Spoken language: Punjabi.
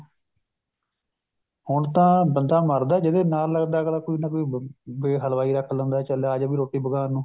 ਹੁਣ ਤਾ ਬੰਦਾ ਮਰਦਾ ਜਦੇ ਨਾਲ ਲੱਗਦਾ ਅਗਲਾ ਕੋਈ ਨਾ ਕੋਈ ਹਲਵਾਈ ਰੱਖ ਲੈਂਦਾ ਹੈ ਚੱਲ ਆਜਾ ਵੀ ਰੋਟੀ ਪਕਾਉਣ ਨੂੰ